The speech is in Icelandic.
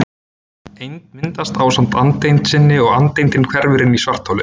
Eind myndast ásamt andeind sinni og andeindin hverfur inn í svartholið.